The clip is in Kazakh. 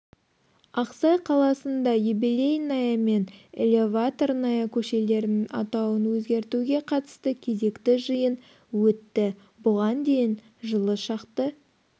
ақсай қаласында юбелейная мен элеваторная көшелерінің атауын өзгертеуге қатысты кезекті жиын өтті бұған дейін жылы шақты